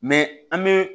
an bɛ